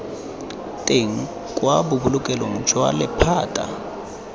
teng kwa bobolokelong jwa lephata